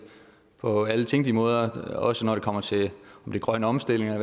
på alle tænkelige måder også når det kommer til grøn omstilling